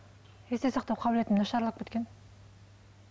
есте сақтау қабілетім нашарлап кеткен